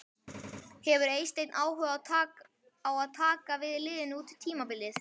Hefur Eysteinn áhuga á að taka við liðinu út tímabilið?